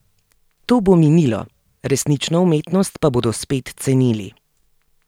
To bo minilo, resnično umetnost pa bodo spet cenili.